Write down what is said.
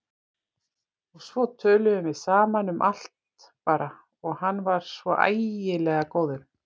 Og svo töluðum við saman, um allt bara, og hann var svo æðislega góður.